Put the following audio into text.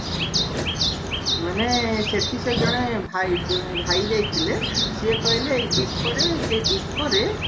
ମାନେ ସେଠି ସେ ଜଣେ ଭାଇ ଜଣେ ଭାଇ ଯାଇଥିଲେ ସିଏ କହିଲେ ଏଇ ଦୀପରେ ସେଇ ଦୀପରେ